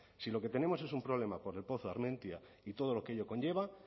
si lo que tenemos es un problema por el pozo armentia y todo lo que ello conlleva